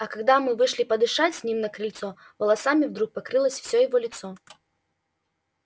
а когда мы вышли подышать с ним на крыльцо волосами вдруг покрылось все его лицо